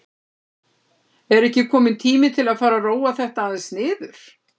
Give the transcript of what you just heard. Er ekki kominn tími til að fara að róa þetta aðeins niður?